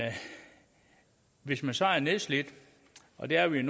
hvis man så er nedslidt og det er vi